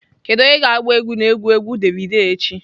Kedu onye ga-agba egwu na egwu egwu davido echi?